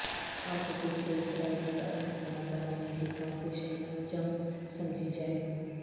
القدس کو اسرائیلی دارالحکومت بنانے کی سازش اعلان جنگ سمجھی جائے